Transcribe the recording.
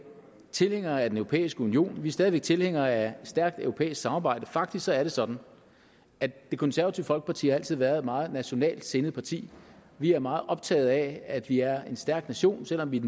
tilhængere af den europæiske union vi stadig væk tilhængere af et stærkt europæisk samarbejde faktisk er det sådan at det konservative folkeparti altid har været et meget nationalt sindet parti vi er meget optaget af at vi er en stærk nation selv om vi er